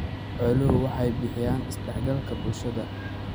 Xooluhu waxay bixiyaan isdhexgalka bulshada.